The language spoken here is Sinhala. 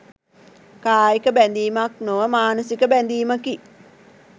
කායික බැඳීමක් නොව මානසික බැඳීමකි.